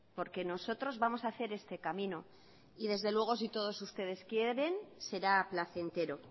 porque nosotros vamos a hacer este camino y desde luego si todos ustedes quieren será placentero